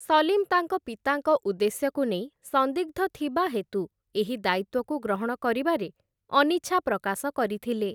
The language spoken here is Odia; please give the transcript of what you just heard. ସଲିମ୍ ତାଙ୍କ ପିତାଙ୍କ ଉଦ୍ଦେଶ୍ୟକୁ ନେଇ ସନ୍ଦିଗ୍ଧ ଥିବା ହେତୁ, ଏହି ଦାୟିତ୍ୱକୁ ଗ୍ରହଣ କରିବାରେ ଅନିଚ୍ଛା ପ୍ରକାଶ କରିଥିଲେ ।